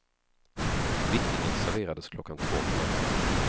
Vickningen serverades klockan två på natten.